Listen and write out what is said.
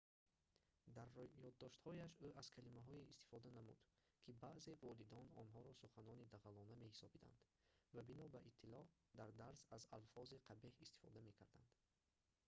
дар ёддоштҳояш ӯ аз калимаҳое истифода намуд ки баъзеи волидон онҳоро суханони дағалона меҳисобиданд ва бино ба иттилоъ дар дарс аз алфози қабеҳ истифода мекарданд